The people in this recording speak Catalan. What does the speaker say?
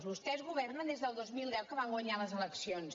vostès go·vernen des del dos mil deu que van guanyar les eleccions